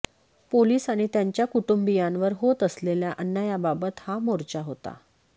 police आणि त्यांच्या कुटुंबीयांवर होत असलेल्या अन्यायाबाबत हा मोर्चा होता